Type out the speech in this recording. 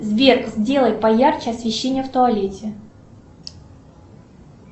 сбер сделай поярче освещение в туалете